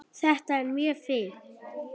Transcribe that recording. Þetta er mjög fínt.